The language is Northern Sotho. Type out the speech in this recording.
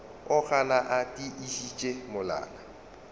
o gana a tiišitše molala